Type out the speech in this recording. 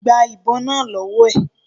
Gba ìbon náà lọ́wọ́ ẹ̀.